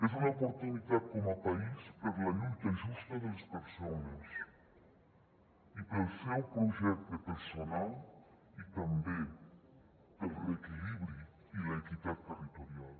és una oportunitat com a país per la lluita justa de les persones i pel seu projecte personal i també per al reequilibri i l’equitat territorial